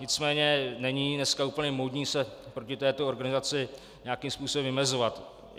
Nicméně není dneska úplně módní se proti této organizaci nějakým způsobem vymezovat.